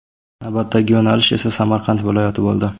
Navbatdagi yo‘nalish esa Samarqand viloyati bo‘ldi.